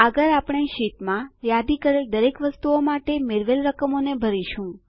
આગળ આપણે શીટમાં યાદી કરેલ દરેક વસ્તુઓ માટે મેળવેલ રકમોને ભરીશું